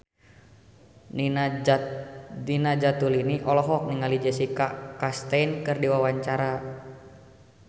Nina Zatulini olohok ningali Jessica Chastain keur diwawancara